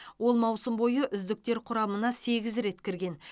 ол маусым бойы үздіктер құрамына сегіз рет кірген